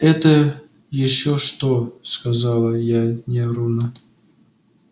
это ещё что сказала я нервно